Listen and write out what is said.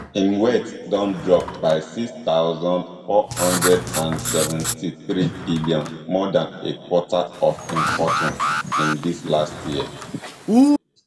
im wealth don drop by six thousand, four hundred and seventy-threebn more dan a quarter of im fortune in di last year